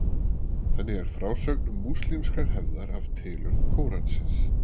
Þannig er frásögn múslímskrar hefðar af tilurð Kóransins.